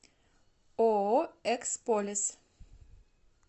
ооо эксполес